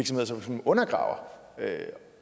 som sådan undergraver